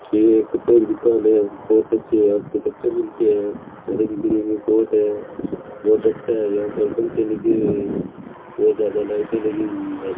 ये कपड़ों की दुकान है बहुत अच्छे यहा पर कपड़े मिलते है रंग बिरंगे कोट है बहुत अच्छा है यहाँ पे पंखे लगे हुए है बहुत ज्यादा लाइटे लगी हुई है।